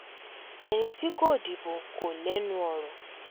ẹni tí kò dìbò kò lẹ́nu ọ̀rọ̀